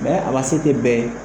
Bɛɛ a ma se kɛ bɛ ye.